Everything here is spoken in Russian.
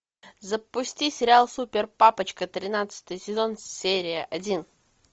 запусти сериал супер папочка тринадцатый сезон серия один